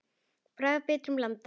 Bragð af bitrum landa.